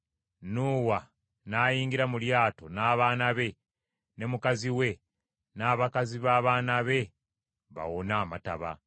Nuuwa n’ayingira mu lyato n’abaana be ne mukazi we n’abakazi b’abaana be bawone amataba.